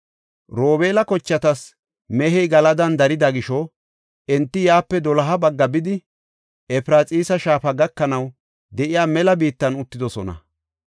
Robeela kochatas mehey Galadan darida gisho, enti yaape doloha bagga bidi, Efraxiisa shaafa gakanaw de7iya mela biittan uttidosona.